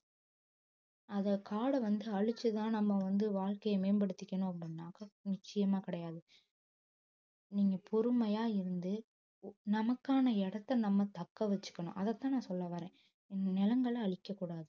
அதை காடை வந்து அழிச்சுதான் நம்ம வந்து வாழ்க்கையை மேம்படுத்திக்கணும் அப்படின்னாக்கா நிச்சயமா கிடையாது நீங்க பொறுமையா இருந்து ஒ~ நமக்கான இடத்தை நம்ம தக்க வச்சுக்கணும் அதைத்தான் நான் சொல்ல வர்றேன் நிலங்களை அழிக்கக்கூடாது